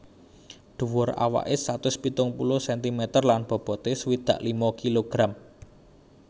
Dhuwur awaké satus pitung puluh sentimeter lan boboté swidak lima kilogram